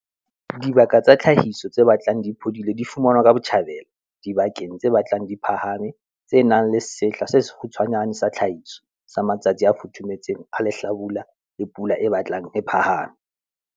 Dibaka tsa tlhahiso tse batlang di phodile di fumanwa ka botjhabela, dibakeng tse batlang di phahame, tse nang le sehla se sekgutshwanyane sa tlhahiso, sa matsatsi a futhufuthumetseng a lehlabula le pula e batlang e phahame.